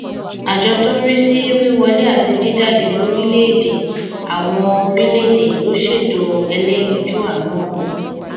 àjọ tó ń rí sí wíwọlé àti jíjáde lórílẹèdè láwọn orílẹèdè ló ṣètò ẹlẹyinjú àánú ọhún